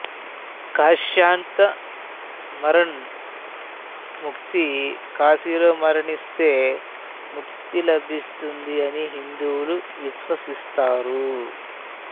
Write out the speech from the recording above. కాశ్యాన్తు మరణాన్ ముక్తి కాశీలో మరణిస్తే ముక్తి లభిస్తుంది అని హిందువులు విశ్వసిస్తారు